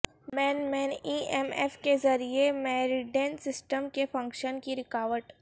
مین مین E M F کے ذریعے میریڈین سسٹم کے فنکشن کی رکاوٹ